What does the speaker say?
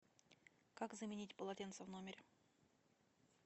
как заменить полотенце в номере